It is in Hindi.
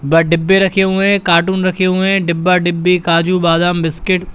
बड़ा डिब्बे रखे हुए हैं कार्टून रखे हुए हैं डिब्बा डिब्बी काजू बादाम बिस्किट ।